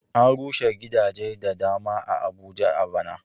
An rushe gidaje da dama a Abuja a ɓana.